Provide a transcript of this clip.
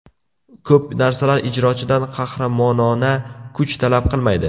Ko‘p narsalar ijrochidan qahramonona kuch talab qilmaydi.